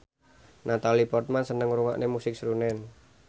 Natalie Portman seneng ngrungokne musik srunen